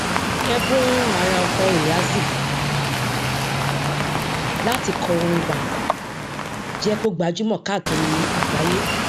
ẹbùn àràọtọ eazi láti kọ orin banku jẹ kí ó gbajúmọ káàkiri àgbáyé